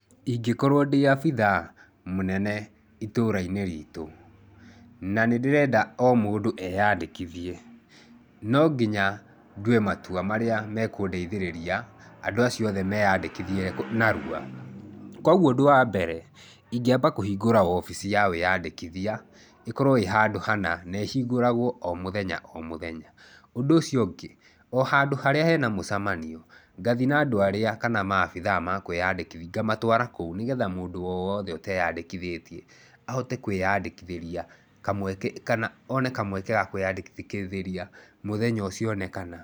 Ingĩkorwo ndĩ abithaa mũnene itũra-inĩ riitũ na nĩ ndĩrenda o mũndũ eandĩkithie, no nginya ndue matua marĩa mekũndeithĩrĩria andũ acio othe meandĩkithia narua. Kwoguo ũndũ wa mbere ingĩamba kũhingũra obici ya wĩandĩkithia, ĩkorwo ĩ handũ hana na ĩhingũragwo o mũthenya o mũthenya. Ũndũ ũcio ũngĩ, o handũ harĩa hena mũcemanio, ngathi na andũ arĩa, kana maabithaa ma kwĩandĩkithia, ngamatũara kũu nĩgetha mũndũ o wothe ũteandĩkithĩtie ahote kwĩandĩkithĩria, kamweke, kana one kamweke ga kwĩandĩkithĩria mũthenya ũcio aonekana.